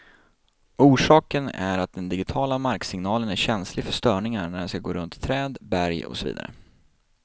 Orsaken är att den digitiala marksignalen är känslig för störningar när den skall gå runt träd, berg och så vidare.